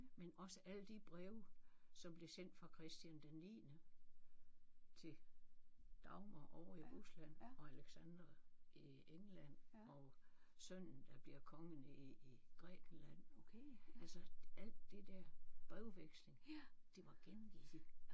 Men også alle de breve som blev sendt fra Christian den niende til Dagmar ovre i Rusland og Alexandra i England og sønnen der bliver konge nede i Grækenland altså alt det der brevveksling det var gengivet i den